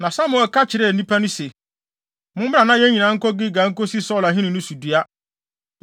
Na Samuel ka kyerɛɛ nnipa no se, “Mommra na yɛn nyinaa nkɔ Gilgal nkosi Saulo ahenni no so dua.”